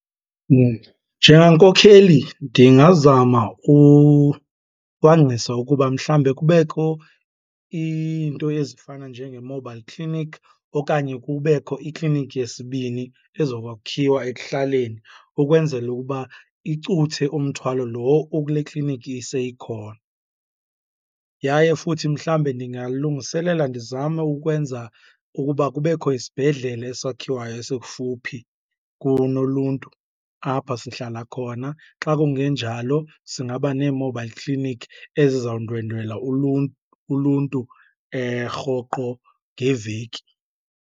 Njengankokheli ndingazama kucwangcisa ukuba mhlawumbe kubekho iinto ezifana njenge-mobile clinic okanye kubekho ikliniki yesibini ezokwakhiwa ekuhlaleni ukwenzela ukuba icuthe umthwalo lo okule kliniki seyikhona. Yaye futhi mhlawumbe ndingalungiselela ndizame ukwenza ukuba kubekho isibhedlele esakhiwayo esikufuphi kunoluntu apha sihlala khona. Xa kungenjalo singaba nee-mobile clinic ezizawundwendwela uluntu rhoqo ngeveki.